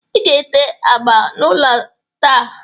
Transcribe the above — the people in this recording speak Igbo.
Ị ga-ete agba n'ụlọ a taa